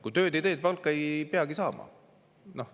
Kui tööd ei tee, siis palka ei peagi saama.